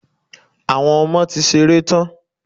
Àwọn ọmọ ti ṣeré tán.